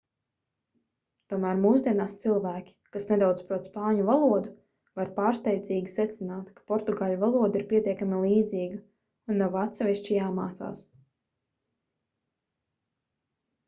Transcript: tomēr mūsdienās cilvēki kas nedaudz prot spāņu valodu var pārsteidzīgi secināt ka portugāļu valoda ir pietiekami līdzīga un nav atsevišķi jāmācās